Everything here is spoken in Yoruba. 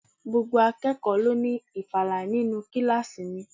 Gbogbo akẹ́kọ̀ọ́ ló ní ìfala nínú kíláàsì mi.